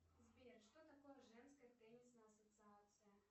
сбер что такое женская теннисная ассоциация